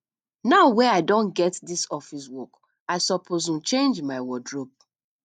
now wey i don get dis office work i suppose um change my wardrobe